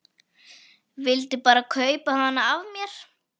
Vildi bara kaupa hana af mér!